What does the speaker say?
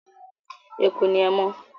Eku ni ẹmọ́.